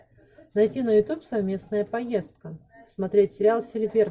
найти на ютуб совместная поездка смотреть сериал